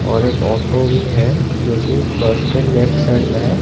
और एक ऑटो भी है जो की बस के लेफ्ट साइड में है।